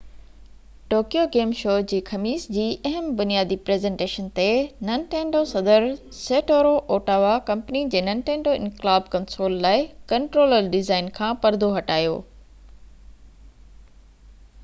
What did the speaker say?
Tokyo game show جي خميس جي اهم بنياندي پريزنٽيشن تي ننٽينڊو صدر سيٽورو اواٽا ڪمپني جي ننٽينڊو انقلاب ڪنسول لاءِ ڪنٽرولر ڊيزائن کان پردو هٽايو